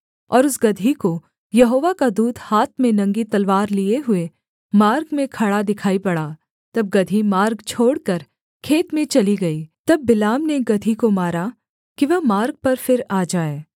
और उस गदही को यहोवा का दूत हाथ में नंगी तलवार लिये हुए मार्ग में खड़ा दिखाई पड़ा तब गदही मार्ग छोड़कर खेत में चली गई तब बिलाम ने गदही को मारा कि वह मार्ग पर फिर आ जाए